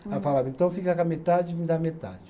Ela falava, então fica com a metade e me dá metade.